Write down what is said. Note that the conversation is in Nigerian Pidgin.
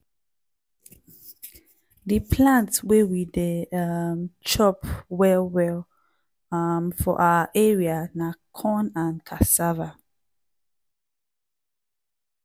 di plant wey we dey um chop well well um for our area na corn and cassava.